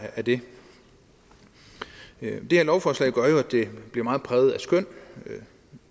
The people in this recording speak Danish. af det det her lovforslag gør jo at det bliver meget præget af skøn